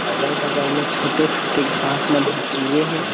अगल-बगल म छोटे-छोटे घास मन ह उगे हे।